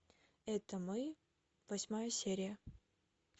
это мы восьмая серия